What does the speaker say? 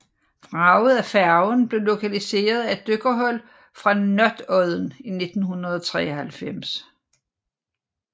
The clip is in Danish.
Vraget af færgen blev lokaliseret af et dykkerhold fra Notodden i 1993